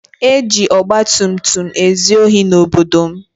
E ji ọgbatumtum ezu ohi n'obodo m.